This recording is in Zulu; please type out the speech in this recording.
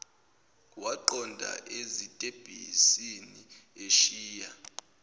waqonda ezitebhisini eshiya